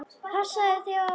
Passaðu þig á honum.